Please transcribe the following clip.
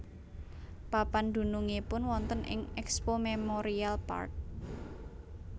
Papan dunungipun wonten ing Expo Memorial Park